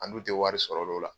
Anu tɛ wari sɔrɔ l'o la.